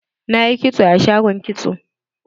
Na yi kitso a shagon kitso.